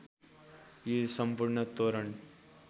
यी सम्पूर्ण तोरण